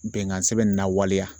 Bɛnkan sɛbɛn in na waleya.